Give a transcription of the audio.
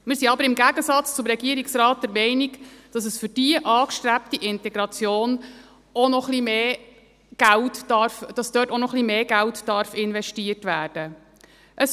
Wir sind aber im Gegensatz zum Regierungsrat der Meinung, dass für diese angestrebte Integration auch noch ein wenig mehr Geld investiert werden darf.